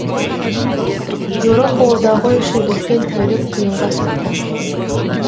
еуропа одағы үшін өткен тәулік қиынға соқты